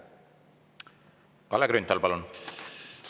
Kalle Grünthal, palun!